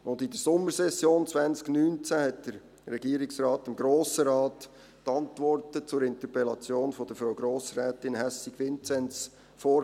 In der Sommersession 2019 legte der Regierungsrat dem Grossen Rat die Antworten zur Interpellation von Frau Grossrätin Hässig Vinzens vor.